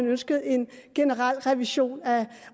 ønskede en generel revision af